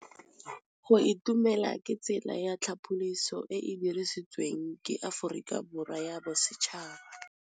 Go itumela ke tsela ya tlhapolisô e e dirisitsweng ke Aforika Borwa ya Bosetšhaba.